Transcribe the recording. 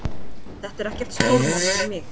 Þetta er ekkert stórmál fyrir mig